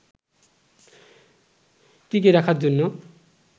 টিকিয়ে রাখার জন্য